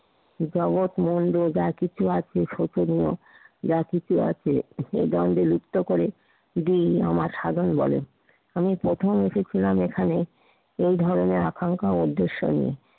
জগত মন দিয়ে যা কিছু আছে শিখনীয় যা কিছু আছে এ জয়কে লিপ্ত করে দিই আমার সাধন বলে আমি প্রথম এসেছিলাম এখানে এই ধরনের আকাঙ্ক্ষা ও উদ্দেশ্য নিয়ে।